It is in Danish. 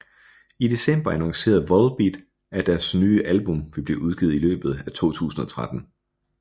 I december annoncerede Volbeat at deres nye album ville blive udgivet i løbet af 2013